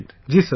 Ji Sir